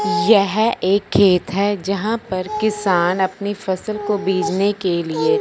यह एक खेत हैं जहां पर किसान अपनी फसल को बिजने के लिएं--